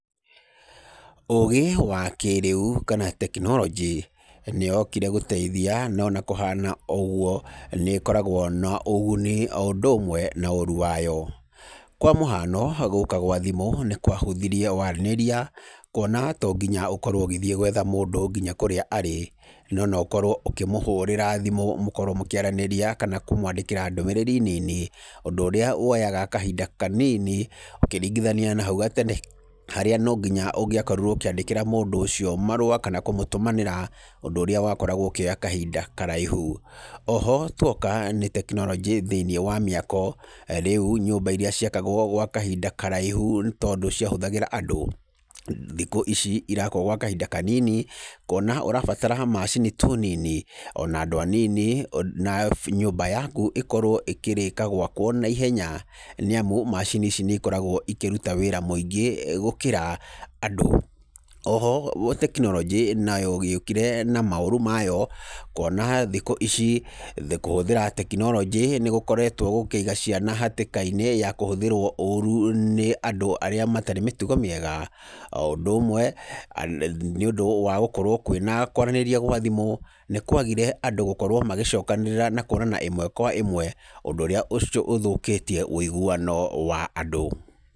Ũgĩ wa kĩrĩu kana tekinoronjĩ nĩyokire gũteithia no ona kũhana ũguo nĩkoragwo na ũguni o ũndũ ũmwe na ũru wayo. Kwa mũhano gũka kwa thimũ nĩkwahũthirie waranĩria kuona to nginya ũkorwo ũgĩthiĩ gwetha mũndũ nginya kũrĩa arĩ, no noũkorwo ũkĩmũhũrĩra thimũ mũkorwo mũkĩaranĩria kana kũmwandĩkĩra ndũmĩrĩri nini ũndũ ũrĩa woyaga kahinda kanini ũkĩringithaniia na hau kabere, harĩa ũngĩakorirwo ũkĩandĩkĩra mũndũ ũcio marũa na kũmũtũmanĩra ũndũ ũrĩa wakoragwo ũkĩoya kahinda karaihu. Oho tuoka nĩ tekinoronjĩ thĩinĩ wa mĩako, rĩu nyũmba iria ciakagwo gwa kahinda karaihu tondũ ciahũthagĩra andũ thikũ ici irakwo gwa kahinda kanini kuona ũrabatara o macini tu nini na andũ anini na nyũmba yaku ĩkorwo ĩkĩrĩka gwakwo naihenya nĩamu macini ici nĩikoragwo ikĩruta wĩra mũingĩ gũkĩra andũ. Oho tekinoronjĩ nĩagĩũkire na maũru mayo kuona thikũ ici kũhũthĩra tekinoronjĩ nĩgũkoretwo gũkĩiga ciana hatĩkainĩ ya kũhũthĩrwo ũru nĩ andũ arĩa matarĩ mĩtugo mĩega. O ũndũ ũmwe nĩũndũ wa gũkorwo kwĩna kwaranĩria gwa thimũ nĩkwagire andũ gũkorwo magĩcokanĩrĩra na kuonana ĩmwe kwa ĩmwe ũndũ ũrĩa ũthũkĩtie ũiguano wa andũ.